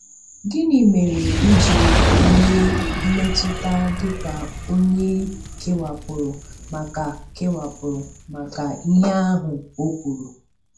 Gịnị mere i ji nwee mmetụta dị ka onye e kewapụrụ maka kewapụrụ maka ihe ahụ o kwuru.